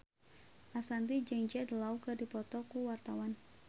Ashanti jeung Jude Law keur dipoto ku wartawan